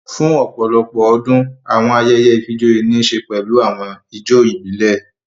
Fún ọ̀pọ̀lọpọ̀ ọdún, àwọn ayẹyẹ ìfijoyé ní ń ṣe pẹlu àwọn ijó ìbílẹ̀